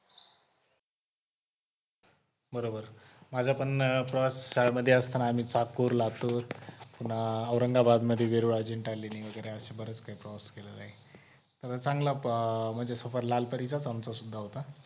बरोबर माझं पण श्यालेमध्ये मध्ये असताना आम्ही चाकूर, लातूर पुन्हा औरंगाबाद मध्ये वेरूळ अजिंठा लेणी वगैरे अश्या बराच काही प्रवास केला आहे. चांगला सफर अह लाल परीचा आमचा सुद्धा होता.